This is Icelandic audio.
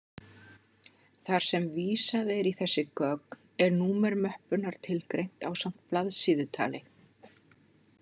Þar sem vísað er í þessi gögn, er númer möppunnar tilgreint ásamt blaðsíðutali.